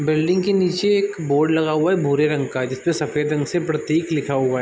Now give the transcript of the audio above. Building के नीचे एक बोर्ड लगा हुआ है भोरे रंग का जिसपे सफेद रंग से प्रतीक लिखा हुआ है।